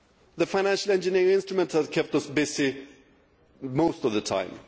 The financial engineering instruments kept us busy for most of the time.